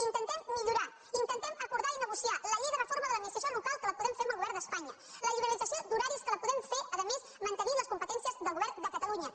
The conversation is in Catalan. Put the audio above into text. intentem millorar intentem acordar i negociar la llei de reforma de l’administració local que la podem fer amb el govern d’espanya la liberalització d’horaris que la podem fer a més mantenint les competències del govern de catalunya